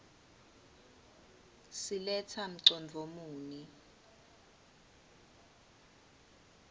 siletsa mcondvo muni